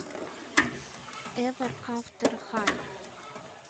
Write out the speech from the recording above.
эвер афтер хай